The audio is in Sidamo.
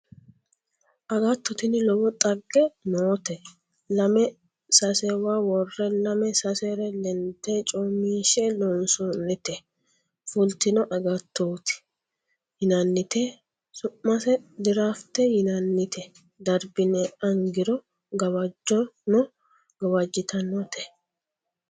Agatto tini lowo dhagge noote lame sasewa worre, lame sasere lende coominshe loonsonnite fultino agattoti yinannite su'mise dirafte yinannite darbine angiro gawajano gawajittanote.